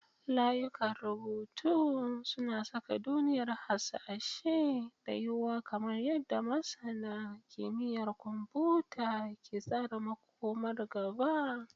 Layukan rubutu suna saƙa duniyar hasashe da yuwuwar kamar yadda masana kimiyyar kwamfuta ke tsara makomar gaba.